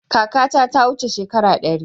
Kakata ta wuce shekara ɗari.